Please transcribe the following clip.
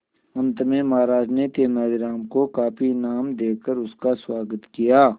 अंत में महाराज ने तेनालीराम को काफी इनाम देकर उसका स्वागत किया